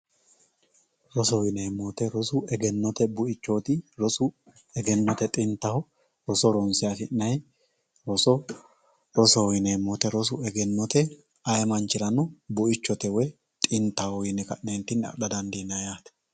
Rosoho yineemmo woyte rosu egennote buichoti ,rosu egennote xintaho rosu, rosoho yineemmo woyte egennote ayee manchirano buichote woyi xintaho yine adha dandiinanni yaate.